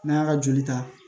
N'an y'a ka joli ta